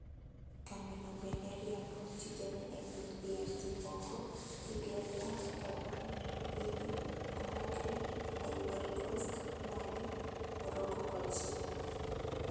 Kambi no bende riembo tijene e piny DRC Congo, Ethiopia, Gabon, Guinea Conakry, Ivory Coast, Mali, Morocco kod Sudan